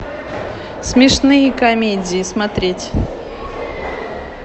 смешные комедии смотреть